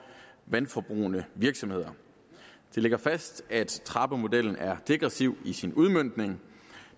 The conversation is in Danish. vandforbrugende virksomheder det ligger fast at trappemodellen er degressiv i sin udmøntning